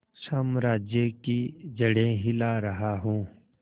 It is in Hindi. साम्राज्य की जड़ें हिला रहा हूं